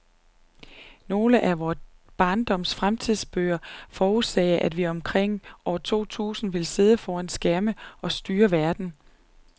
Nogle af vor barndoms fremtidsbøger forudsagde, at vi omkring år to tusind ville sidde foran skærme og styre verden.